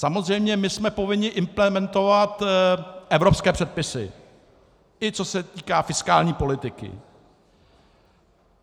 Samozřejmě my jsme povinni implementovat evropské předpisy, i co se týká fiskální politiky.